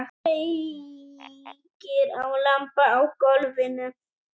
Kveikir á lampa á gólfinu.